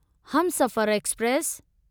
Humsafar express